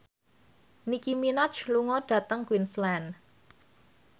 Nicky Minaj lunga dhateng Queensland